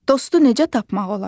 Dostu necə tapmaq olar?